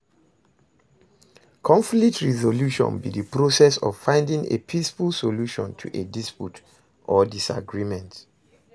conflict resolution be di process of finding a peaceful solution to a dispute or disagreement.